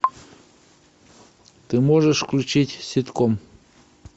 ты можешь включить ситком